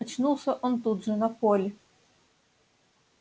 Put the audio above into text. очнулся он тут же на поле